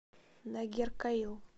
нагеркоил